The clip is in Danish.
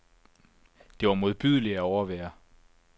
Det var modbydeligt at overvære.